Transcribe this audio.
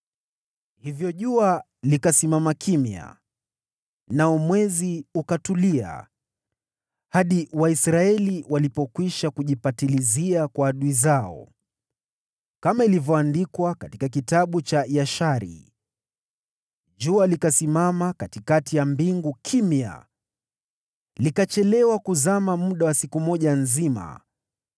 Hivyo jua likasimama, nao mwezi ukatulia, hadi taifa hilo lilipokwisha kujilipizia kisasi kwa adui wake, kama ilivyoandikwa katika Kitabu cha Yashari. Jua likasimama kimya katikati ya mbingu, likachelewa kuzama muda wa siku moja nzima.